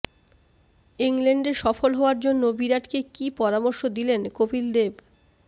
ইংল্যান্ডে সফল হওয়ার জন্য বিরাটকে কী পরামর্শ দিলেন কপিল দেব